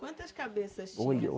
Quantas cabeças tinha?